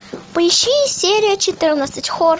поищи серия четырнадцать хор